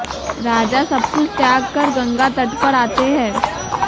राजा सब कुछ त्याग कर गंगा तट पर आते है